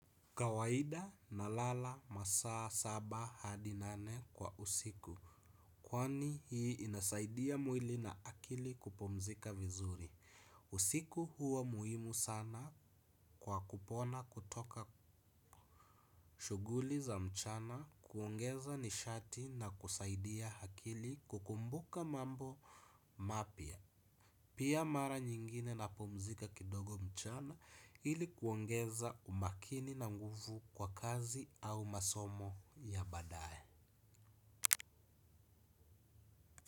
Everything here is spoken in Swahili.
Kawaida nalala masaa saba hadi nane kwa usiku. Kwani hii inasaidia mwili na akili kupumzika vizuri. Usiku huwa muhimu sana kwa kupona kutoka shuguli za mchana kuongeza nishati na kusaidia hakili kukumbuka mambo mapya. Pia mara nyingine napumzika kidogo mchana ili kuongeza umakini na nguvu kwa kazi au masomo ya badae.